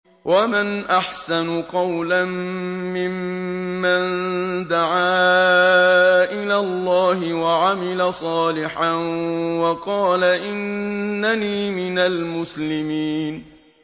وَمَنْ أَحْسَنُ قَوْلًا مِّمَّن دَعَا إِلَى اللَّهِ وَعَمِلَ صَالِحًا وَقَالَ إِنَّنِي مِنَ الْمُسْلِمِينَ